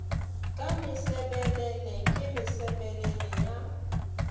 ka mesebelele ke mesebelele ya